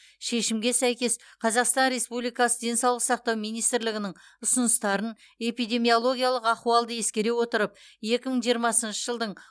шешімге сәйкес қазақстан республикасы денсаулық сақтау министрлігінің ұсыныстарын эпидемиологиялық ахуалды ескере отырып екі мың жиырмасыншы жылдың